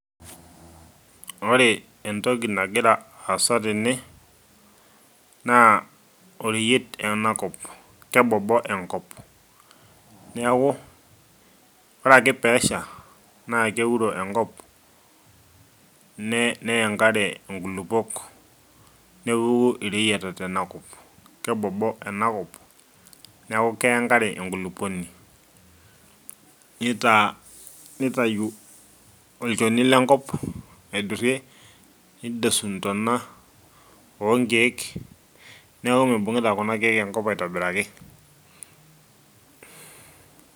ore entoki nagira aasa tene, naa oreyiet ena kop. kebobo ena kop. ore ake pee esha naa keuro enkop, neya enkare nkulupuok. nepuku ireyiata tena kop, kebobo ena kop. neeku keya enkare enkulupuoni, nitayu olchoni lenkop aidurie. nidosu ntona oonkeek. neeku mibungita kuna keek enkop aitobiraki.